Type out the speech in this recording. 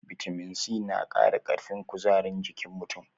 Bitamin C na qara ƙarfin kuzarin jikin mutum.